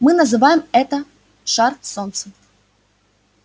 мы называем это шар солнцем